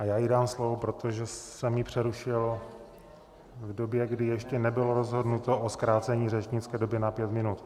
A já jí dám slovo, protože jsem ji přerušil v době, kdy ještě nebylo rozhodnuto o zkrácení řečnické doby na pět minut.